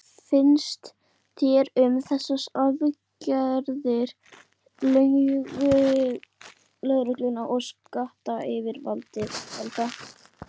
Sölvi, hvað finnst þér um þessar aðgerðir lögreglu og skattayfirvalda?